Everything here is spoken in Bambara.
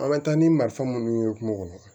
An bɛ taa ni marifa minnu ye kungo kɔnɔ